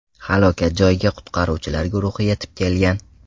Halokat joyiga qutqaruvchilar guruhi yetib kelgan.